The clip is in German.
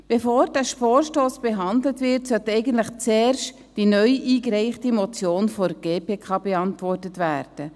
Bevor dieser Vorstoss behandelt wird, sollte eigentlich zuerst die neu eingereichte Motion der GPK beantwortet werden.